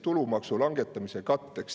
Tulumaksu langetamise katteks.